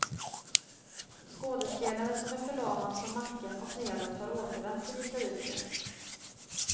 Skådespelaren som är förlamad från nacken och nedåt har återvänt till vita duken.